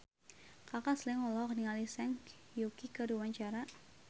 Kaka Slank olohok ningali Zhang Yuqi keur diwawancara